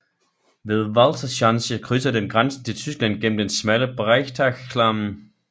Ved Walserschanze krydser den grænsen til Tyskland gennem den smalle Breitachklamm